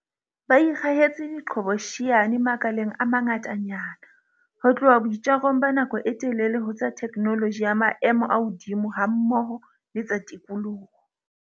Ba ikgahetse diqhobosheane makaleng a mangatanyana, ho tloha boitjarong ba nako e telele ho tsa theknoloji ya maemo a hodimo hammoho le tsa tikoloho.